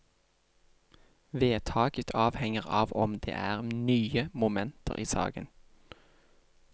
Vedtaket avhenger av om det er nye momenter i saken.